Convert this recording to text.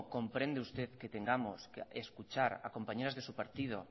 comprende usted que tengamos que escuchar a compañeras de su partido